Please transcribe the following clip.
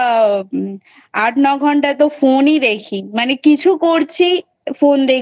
আট নয় ঘন্টা তো Phone ই দেখি মানে কিছু করছি Phone দেখছি।